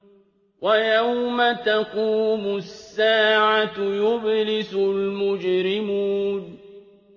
وَيَوْمَ تَقُومُ السَّاعَةُ يُبْلِسُ الْمُجْرِمُونَ